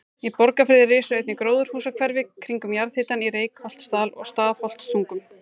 Í Borgarfirði risu einnig gróðurhúsahverfi kringum jarðhitann í Reykholtsdal og Stafholtstungum.